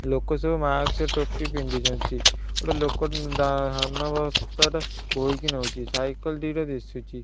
ଲୋକ ସବୁ ମାସ୍କ ଟୋପି ପିନ୍ଧିଛନ୍ତି ଓ ଗୋଟେ ଲୋକ ଧା ଧାନ ବସ୍ତାଟା ବୋହିକି ନଉଛି ସାଇକେଲ ଦିଟା ଦିଶୁଛି।